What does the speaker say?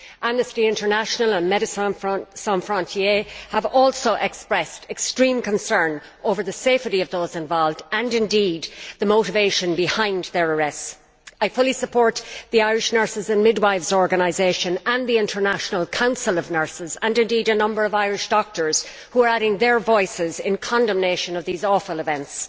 Amnesty International and have also expressed extreme concern over the safety of those involved and indeed the motivation behind their arrests. I fully support the Irish Nurses and Midwives Organisation and the International Council of Nurses, and indeed a number of Irish doctors, who are adding their voices in condemnation of these awful events.